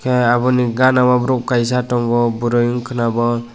hingke abo ni gara ro borok kaisa tongo boroi wngka na obo.